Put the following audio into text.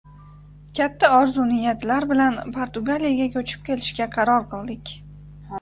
Katta orzu niyatlar bilan Portugaliyaga ko‘chib kelishga qaror qildik.